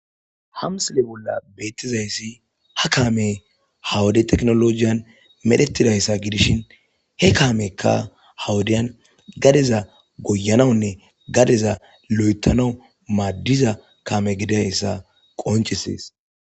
Hamsile bolla beettizayssi ha kaame hawode teknolojiyan medhetidayssa gidishin he kaamekka hawodiyan gadeza goyanawunne gadeza lo'etano maaddiza kame gidayssa qoncesees.